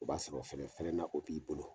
O b'a sɔrɔ fɛnɛ fɛnɛ nakɔ b'i bolo.